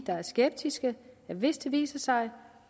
der er skeptiske at hvis det viser sig